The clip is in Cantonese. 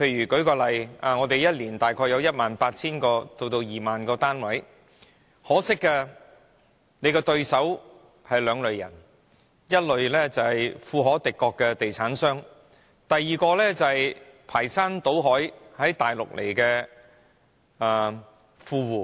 舉例來說，我們每年大約有 18,000 個至 20,000 個單位供應，可惜買家只有兩類人，一是富可敵國的地產商，二是從內地排山倒海到來的富戶。